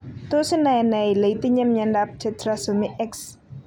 Tos inae en ne ile itinye miondap Tetrasomy X?